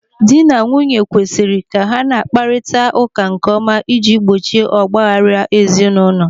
Dị na nwunye kwesiri ka ha na-akparịta ụka nkeọma ịji gbochie ọgbaaghara ezi n'ụlọ.